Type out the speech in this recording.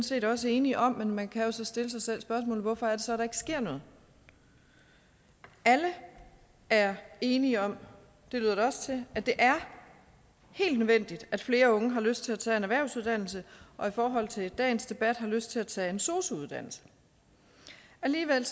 set også enige om men man kan jo så stille sig selv spørgsmålet hvorfor er det så at der ikke sker noget alle er enige om det lyder det også at det er helt nødvendigt at flere unge har lyst til at tage en erhvervsuddannelse og i forhold til dagens debat har lyst til at tage en sosu uddannelse alligevel